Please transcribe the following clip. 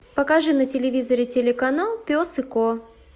покажи на телевизоре телеканал пес и ко